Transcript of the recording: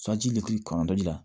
leki kɔrɔ dɔ di la